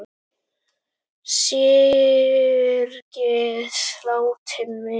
Syrgið látinn vin!